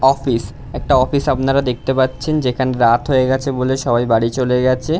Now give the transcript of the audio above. Office একটা office আপনারা দেখতে পাচ্ছেন যেখানে রাত হয়ে গেছে বলে সবাই বাড়ি চলে গেছে।